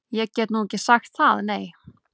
Ég get nú ekki sagt það, nei.